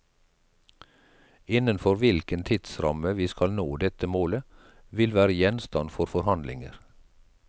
Innenfor hvilken tidsramme vi skal nå dette målet, vil være gjenstand for forhandlinger.